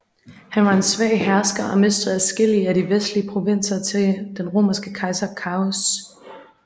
Han var en svag hersker og mistede adskillige af de vestlige provinser til den romerske kejser Carus